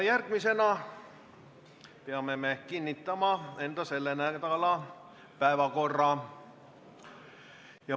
Järgmisena peame kinnitama selle nädala päevakorra.